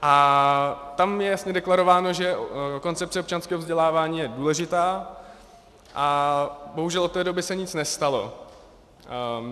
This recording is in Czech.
A tam je jasně deklarováno, že koncepce občanského vzdělávání je důležitá, a bohužel od té doby se nic nestalo.